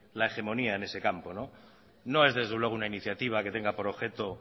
la hegemonía en ese campo no es desde luego una iniciativa que tenga por objeto